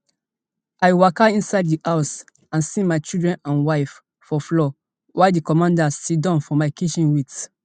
i waka inside di house and see my children and my wife for floor while di commander siddon for my kitchen wit